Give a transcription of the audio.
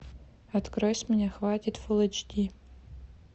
открой с меня хватит фул эйч ди